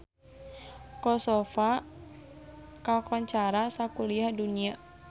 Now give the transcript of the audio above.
Kosovo kakoncara sakuliah dunya